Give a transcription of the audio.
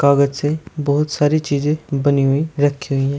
कागज से बहुत सारी चीजें बनी हुई रखी हुई है।